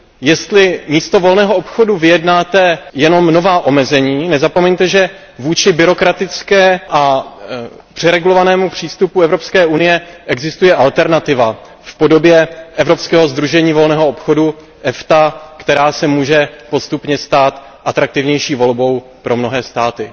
Jestli místo volného obchodu vyjednáte jenom nová omezení, nezapomeňte, že vůči byrokratickému a přeregulovanému přístupu Evropské unie existuje alternativa v podobě Evropského sdružení volného obchodu EFTA, která se může postupně stát atraktivnější volbou pro mnohé státy.